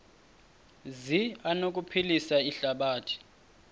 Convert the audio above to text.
zi anokuphilisa ihlabathi